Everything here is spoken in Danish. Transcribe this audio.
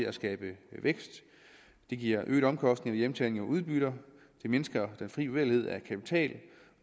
at skabe vækst det giver øgede omkostninger ved hjemtagning af udbytter det mindsker den fri bevægelighed af kapital